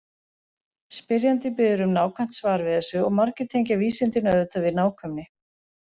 Spyrjandi biður um nákvæmt svar við þessu og margir tengja vísindin auðvitað við nákvæmni.